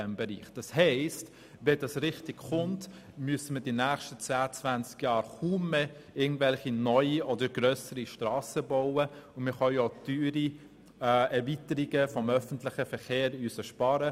Wenn das wirklich kommt, müssen wir in den nächsten 10 bis 20 Jahren keine neuen oder grösseren Strassen bauen und wir können auch auf teure Erweiterungen des öffentlichen Verkehrs verzichten.